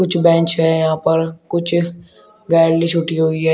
कुछ बेंच है यहां पर कुछ गैलरी छूटी हुई है।